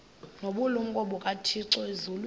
nobulumko bukathixo elizwini